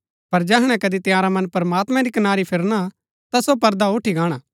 पर जैहणै कदी तंयारा मन प्रमात्मैं री कनारी फिरना ता सो पर्दा उठी गाणा